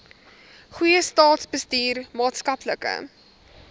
goeie staatsbestuur maatskaplike